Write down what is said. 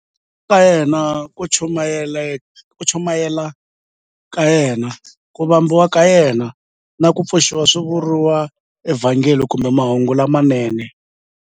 Ku tswariwa ka yena, ku chumayela ka yena, ku vambiwa ka yena, na ku pfuxiwa swi vuriwa eVhangeli kumbe"Mahungu lamanene".